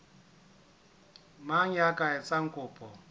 mang ya ka etsang kopo